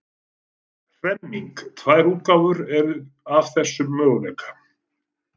Hremming Tvær útgáfur eru af þessum möguleika.